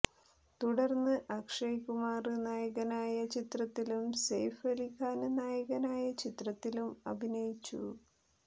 തുടര്ന്ന് അക്ഷയ് കുമാര് നായകനായ ചിത്രത്തിലും സെയ്ഫ് അലി ഖാന് നായകനായ ചിത്രത്തിലും അഭിനയിച്ചു